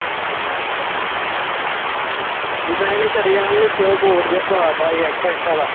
ਜਿਦਾ ਇਹਨੇ ਸ਼ਰੇਆਂਮ ਈ ਉੱਤੇ ਉਹ code ਜਾ ਪਾਤਾ ਹੀ ਆਲਾ